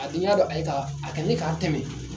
A dun y'a dɔ a ye ka a ye k'a tɛmɛ.